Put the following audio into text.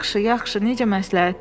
Yaxşı, yaxşı, necə məsləhətdir.